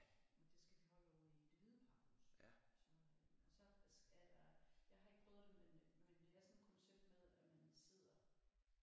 Men det skal vi holde ovre i Det Hvide Pakhus så øh og så er der jeg har ikke prøvet det men det er sådan et koncept med at man sidder